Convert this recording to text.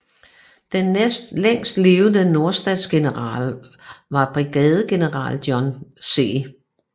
Den næstlængst levende nordstatsgeneral var Brigadegeneral John C